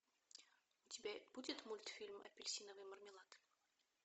у тебя будет мультфильм апельсиновый мармелад